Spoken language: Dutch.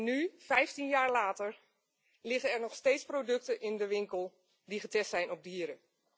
Nu, 15 jaar later, liggen er nog steeds producten in de winkel die getest zijn op dieren.